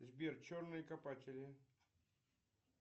сбер черные копатели